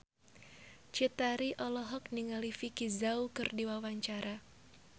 Cut Tari olohok ningali Vicki Zao keur diwawancara